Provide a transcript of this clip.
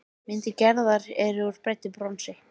Myndir Gerðar eru úr bræddu bronsi.